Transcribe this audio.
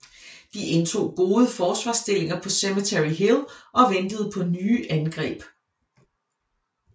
De indtog gode forsvarsstillinger på Cemetery Hill og ventede på nye angreb